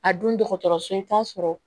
A dun dɔgɔtɔrɔso i bɛ taa sɔrɔ